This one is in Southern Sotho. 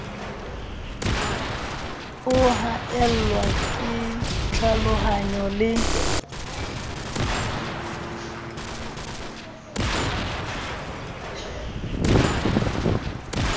o haellwa ke tlhalohanyo le